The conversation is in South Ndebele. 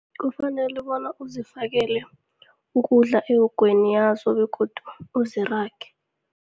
Kufanele bona uzifakele ukudla ewogweni yazo begodu uzirage.